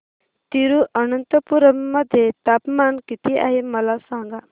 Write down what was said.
तिरूअनंतपुरम मध्ये तापमान किती आहे मला सांगा